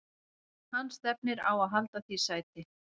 Hann stefnir á að halda því sæti.